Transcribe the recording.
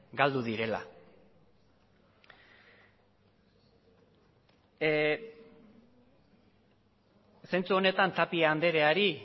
galdu direla zentzu honetan tapia andreari